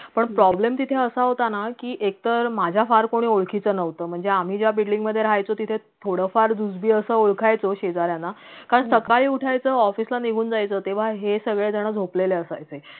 पण problem तिथे असा होता ना कि एकतर माझ्या फार कोणी ओळखीचं नव्हतं म्हणजेआम्ही ज्या building मधे राहायचो तिथे थोडफार अस ओळखायचो कारण सकाळी उठायचं office ला निघून जायचं तेव्हा हे सगळे जण झोपलेले असायचे